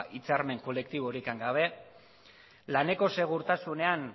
hitzarmen kolektiborik gabe laneko segurtasunean